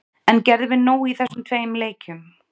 En gerðum við nóg í þessum tveim leikjum?